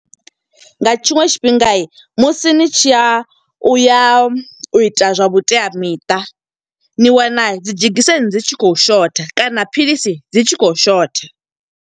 Nga tshiṅwe tshifhinga musi ni tshi ya, u ya u ita zwa vhuteamiṱa. Ni wana dzi dzhegiseni dzi tshi khou shotha, kana philisi dzi tshi khou shotha.